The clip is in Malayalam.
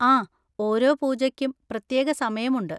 ആ, ഓരോ പൂജയ്ക്കും പ്രത്യേക സമയം ഉണ്ട്.